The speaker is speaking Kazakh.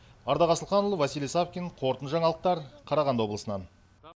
ардақ асылханұлы василий савкин қорытынды жаңалықтар қарағанды облысынан